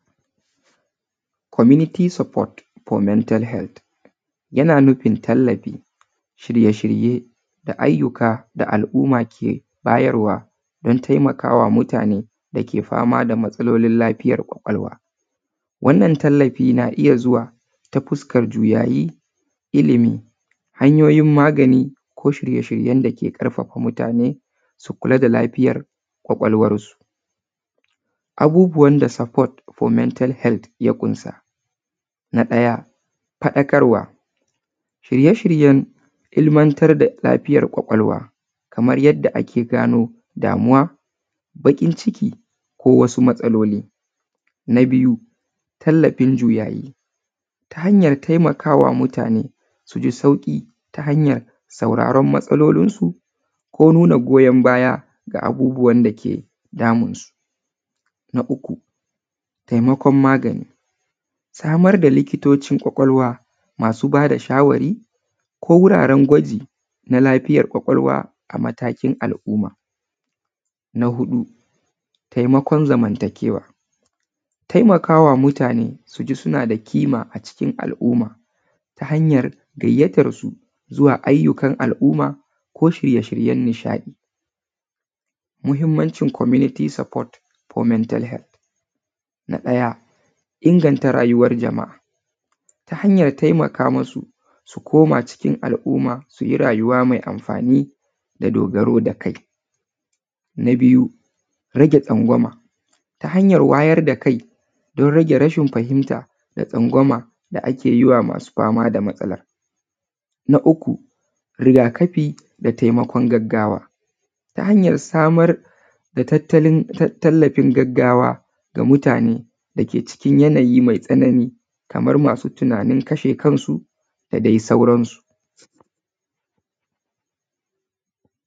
Community support for mental health. Yana nufin tallafi, shirye-shirye da ayyuka da al’umma ke bayarwa don taimaka ma mutane dake fama da matsalolin lafiyar ƙwaƙwalwa. Wannan tallafi na iya zuwa ta fuskan juyayi, ilimi, hanyoyin magani ko shirye-shiryen dake ƙarfafa mutane su kula da lafiyar ƙwaƙwalwarsu. Abubuwan da support for mental health ya ƙunsa: Na ɗaya, faɗakarwa; shirye-shiryen ilmantar da lafiyar ƙwaƙwalwa, kamar yadda ake gano damuwa, baƙin-ciki ko wasu matsaloli. Na biyu, tallafin juyayi; ta hanyar taimakawa mutane su ji sauƙi ta hanyar sauraron matsalolinsu ko nuna goyon baya ga abubuwan dake damunsu.